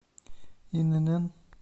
инн